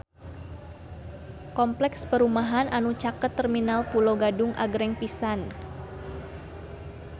Kompleks perumahan anu caket Terminal Pulo Gadung agreng pisan